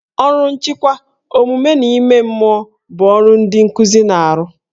Ọrụ nchịkwa, omume na ime mmụọ bụ ọrụ ndị nkuzi na-arụ